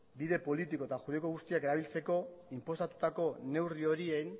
bide juridiko eta politiko guztiak erabiltzeko inposatutako neurri horien